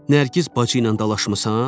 Nərgiz bacı ilə dalaşmısan?